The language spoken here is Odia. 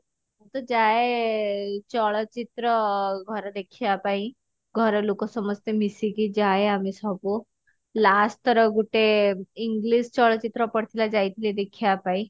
ମୁଁ ତ ଯାଏ ଚଳଚିତ୍ର ଅ ଘରେ ଦେଖିବା ପାଇଁ ଘର ଲୋକ ସମସ୍ତେ ମିସିକି ଯାଏ ଆମେ ସବୁ last ଥର ଗୁଟେ english ଚଳଚିତ୍ର ପଡିଥିଲା ଯାଇଥିଲି ଦେଖିବା ପାଇଁ